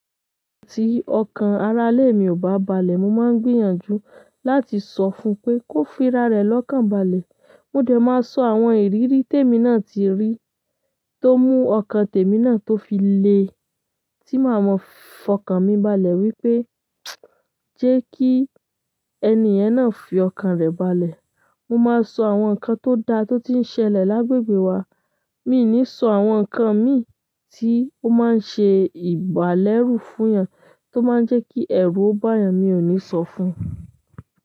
Tí ọkàn arálè mi ò bá balẹ̀, mo máa ń gbìyànjú láti sọ fún pé kó fi ra rẹ̀ lọ́kàn balẹ̀. Mo dẹ̀ máa sọ àwọn ìrírí tèmi náà tí rí, tó mú ọkàn tèmi náà tó fi le, tí màá mọ̀ fọkàn mi balẹ̀ wípé jẹ́ kí ènì yen náà fi ọkàn rẹ̀ balẹ̀. Mo máa sọ àwọn ǹkan tó da tó ti ń ṣẹlẹ̀ lágbègbè wa. Mi i ní sọ àwọn ǹkan mi tí ó máa ń ṣe ìbálẹ́rù fún yan tó máa ń jẹ́ kí ẹ̀rù o ba yàn, mi ò ní sọ fún un.